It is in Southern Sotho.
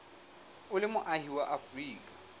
o le moahi wa afrika